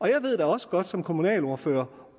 jeg ved da også godt som kommunalordfører